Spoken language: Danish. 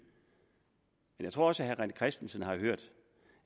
jeg tror også at herre rené christensen har hørt